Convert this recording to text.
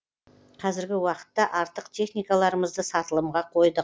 қазіргі уақытта артық техникаларымызды сатылымға қойдық